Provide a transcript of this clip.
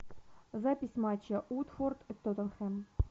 запись матча уотфорд и тоттенхэм